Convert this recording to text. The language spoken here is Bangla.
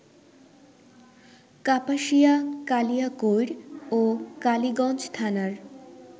কাপাসিয়া, কালিয়াকৈর ও কালীগঞ্জ থানার